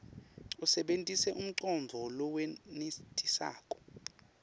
usebentise umcondvo lowenetisako